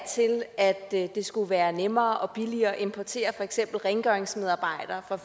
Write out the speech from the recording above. til at det skulle være nemmere og billigere at importere for eksempel rengøringsmedarbejdere fra